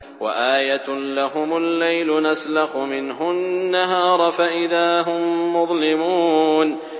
وَآيَةٌ لَّهُمُ اللَّيْلُ نَسْلَخُ مِنْهُ النَّهَارَ فَإِذَا هُم مُّظْلِمُونَ